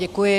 Děkuji.